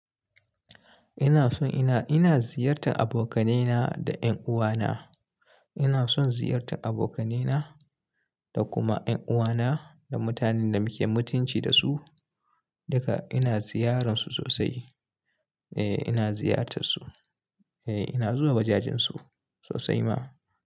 Ina son ina, ina ziyartar abokaina da ƴan uwana. Ina son ziyartar abokaina da kuma ƴan uwana da mutanen da muke mutunci da su. Duka ina ziyararsu sosai. Eh ina ziyartar su. Eh ina zuwa wajajensu sosai ma.